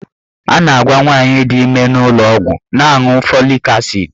A na-agwa nwaanyị di ime n'ụlọọgwụ na-aṅụ folik asid.